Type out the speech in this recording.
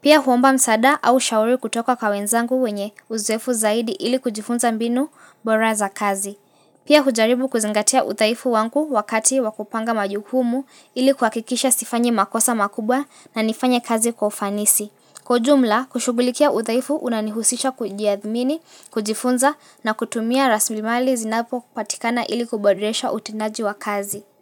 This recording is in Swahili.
Pia huomba msaada au ushauri kutoka kwa wenzangu wenye uzoeefu zaidi ili kujifunza mbinu bora za kazi. Pia hujaribu kuzingatia udhaifu wangu wakati wakupanga majukumu ili kuhakikisha sifanyi makosa makubwa na nifanye kazi kwa ufanisi. Kwa ujumla, kushughulikia udhaifu unanihusisha kujiamini, kujifunza na kutumia raslimali zinapopatikana ili kuboresha utendaji wa kazi.